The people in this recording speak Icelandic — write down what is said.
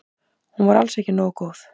Hún var alls ekki nógu góð.